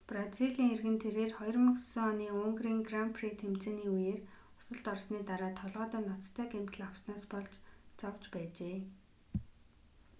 бразилийн иргэн тэрээр 2009 оны унгарын гран при тэмцээний үеэр осолд орсоны дараа толгойдоо ноцтой гэмтэл авснаас болж зовж байжээ